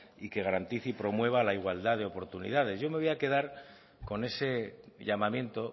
y que garantice y promueva la igualdad de oportunidades yo me voy a quedar con ese llamamiento